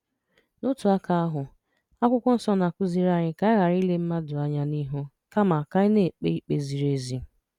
N’otu aka ahụ, Akwụkwọ Nsọ na-akụziri anyị ka anyị ghara ile mmadụ anya n’ihu, kama ka anyị na-ekpe ikpe ziri ezi.